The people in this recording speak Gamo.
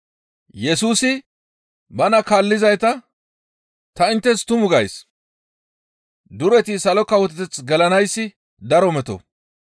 Yesusi bana kaallizayta, «Ta inttes tumu gays; dureti Salo Kawoteth gelanayssi daro meto.